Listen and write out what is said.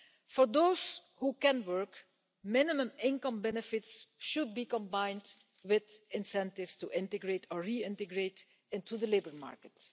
For those who can work, minimum income benefits should be combined with incentives to integrate or reintegrate into the labour market.